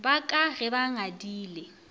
ba ka ge ba ngadile